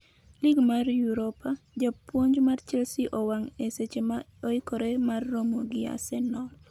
Lig mar Europa: Japuonj mar Chelsea owang' e seche ma oikre mar ramo gi Arsenal